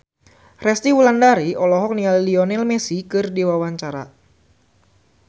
Resty Wulandari olohok ningali Lionel Messi keur diwawancara